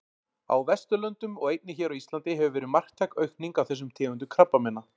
Á Vesturlöndum og einnig hér á Íslandi hefur verið marktæk aukning á þessum tegundum krabbameina.